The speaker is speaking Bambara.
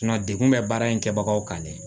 degun bɛ baara in kɛbagaw kan dɛ